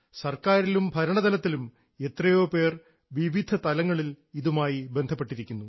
സർക്കാരിലും ഭരണതലത്തിലും എത്രയോ പേർ വിവിധ തലങ്ങളിൽ ഇതുമായി ബന്ധപ്പെട്ടിരിക്കുന്നു